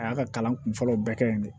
A y'a ka kalan kun fɔlɔw bɛɛ kɛ yen de